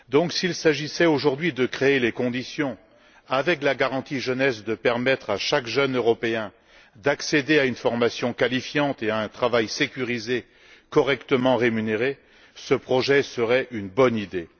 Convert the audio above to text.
S'il s'agissait aujourd'hui de créer, avec la garantie jeunesse, les conditions permettant à chaque jeune Européen d'accéder à une formation qualifiante et à un travail sécurisé et correctement rémunéré, ce projet serait une bonne idée.